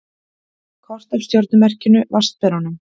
Kort af stjörnumerkinu Vatnsberanum.